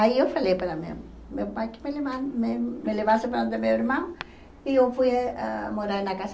Aí eu falei para o meu meu pai que me leva me me levasse para onde meu irmão e eu fui a morar na casa.